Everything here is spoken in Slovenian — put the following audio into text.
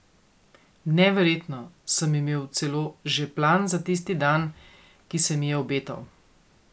Neverjetno, sem imel celo že plan za tisti dan, ki se mi je obetal.